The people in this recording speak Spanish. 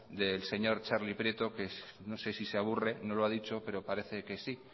del señor txarli prieto que no sé si se aburre no lo ha dicho pero parece que sí